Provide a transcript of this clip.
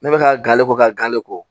Ne bɛ ka gale ko ka gale ko